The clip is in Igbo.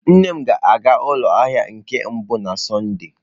Nne m ga-aga ụlọ ahịa na nke mbụ na Sọnde.